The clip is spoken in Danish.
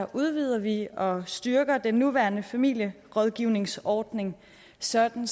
udvider vi og styrker den nuværende familierådgivningsordning sådan